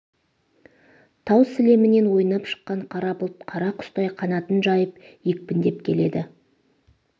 тау сілемінен ойнап шыққан қара бұлт қара құстай қанатын жайып екпіндеп келеді